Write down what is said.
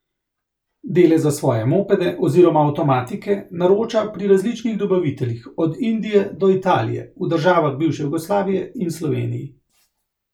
Dele za svoje mopede oziroma avtomatike naroča pri različnih dobaviteljih od Indije do Italije, v državah bivše Jugoslavije in Sloveniji.